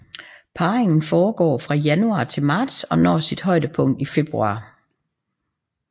Parringen foregår fra januar til marts og når sit højdepunkt i februar